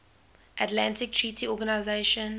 atlantic treaty organization